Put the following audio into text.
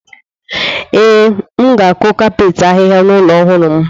Ee, m ga-akụ kapet ahịhịa n’ụlọ ọhụrụ m.